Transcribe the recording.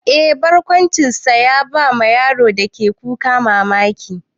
Eh, barkwancinsa ya bawa yaron da ke kuka mamaki.